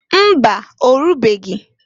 Mba! Orubeghi.